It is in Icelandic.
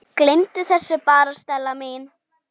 Gleymdu þessu bara, Stella mín.